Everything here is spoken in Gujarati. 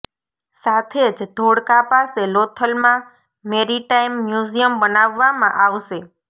સાથે જ ધોળકા પાસે લોથલમાં મેરિટાઈમ મ્યુઝિયમ બનાવવામાં આવશે